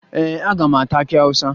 Ee, aga m ata akị Awụsa